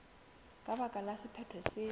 ka baka la sephetho se